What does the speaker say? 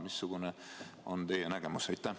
Missugune on teie nägemus?